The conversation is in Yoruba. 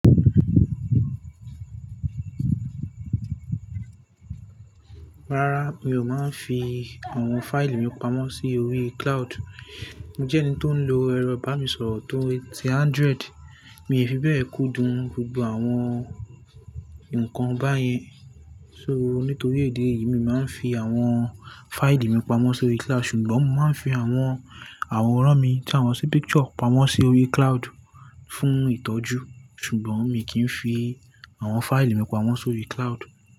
Rárá, mi ò máa ń fi àwọn fáìlì mi pamọ́ sí orí cloud. Mo jẹ́ ẹni tó ń lo ẹ̀rọ bá ni sọ̀rọ̀ tó e ti android, mi fi bẹ́ẹ̀ kúndùn gbogbo àwọn nǹkan báyẹn. So, nítorí idi e yìí, mi máa ń fi àwọn fáìlì mi pamọ́ sórí cloud, ṣùgbọ́n mo máa ń fi àwọn àwòrán mi tí àmo sí picture pamọ́ sí orí cloud fún ìtọ́jú. Ṣùgbọ́n, mi kì í fi àwọn fáìlì mi pamọ́ sórí cloud.